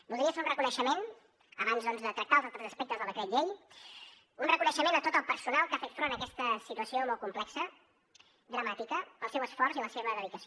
voldria fer un reconeixement abans doncs de tractar els altres aspectes del decret llei un reconeixement a tot el personal que ha fet front a aquesta situació molt complexa dramàtica pel seu esforç i la seva dedicació